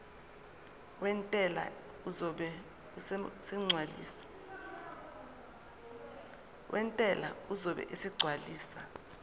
wentela uzobe esegcwalisa